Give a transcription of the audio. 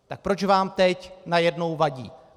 Tak proč vám teď najednou vadí?